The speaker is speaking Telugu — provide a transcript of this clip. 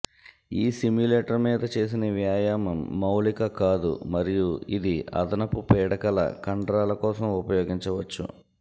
ఈ సిమ్యులేటర్ మీద చేసిన వ్యాయామం మౌలిక కాదు మరియు ఇది అదనపు పీడకల కండరాల కోసం ఉపయోగించవచ్చు